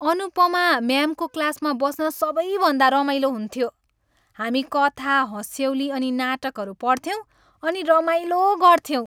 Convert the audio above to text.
अनुपमा म्यामको क्लासमा बस्न सबैभन्दा रमाइलो हुन्थ्यो। हामी कथा, हँस्यौली अनि नाटकहरू पढ्थ्यौँ अनि रमाइलो गऱ्थ्यौँ।